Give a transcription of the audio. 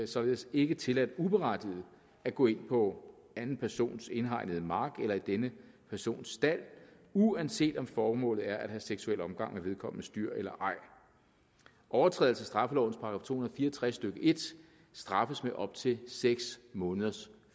således ikke tilladt uberettiget at gå ind på anden persons indhegnede mark eller i denne persons stald uanset om formålet er at have seksuel omgang med vedkommendes dyr eller ej overtrædelse af straffelovens § to hundrede og fire og tres stykke en straffes med op til seks måneders